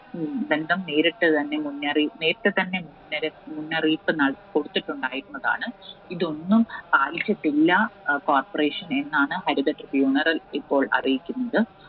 ബന്ധം നേരിട്ട് തന്നെ മുന്നറി ~നേരിട്ടുതന്നെ മുന്നറി~മുന്നറിയിപ്പ് നൽ കൊടുത്തിട്ടുണ്ടായിരുന്നതാണ്. ഇതൊന്നും പാലിച്ചിട്ടില്ല Corporation എന്നാണ് ഹരിത tribunal അറിയിച്ചിരിക്കുന്നത്.